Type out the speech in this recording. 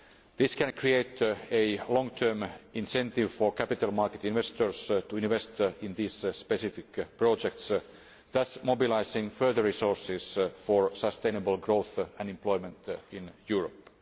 This can create a long term incentive for capital market investors to invest in this specific project, thus mobilising further resources for sustainable growth and employment in Europe.